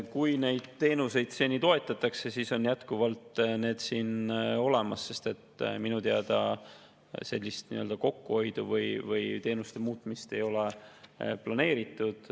Kui neid teenuseid on seni toetatud, siis on need siin jätkuvalt olemas, sest minu teada sellist kokkuhoidu või teenuste muutmist ei ole planeeritud.